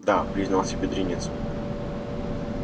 да признался бедренец